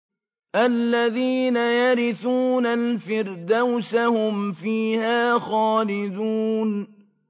الَّذِينَ يَرِثُونَ الْفِرْدَوْسَ هُمْ فِيهَا خَالِدُونَ